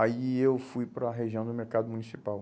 Aí eu fui para a região do mercado municipal.